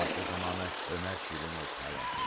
Hadisə zamanı Ömər Şirinov həlak olub.